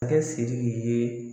Akɛ Siriki ye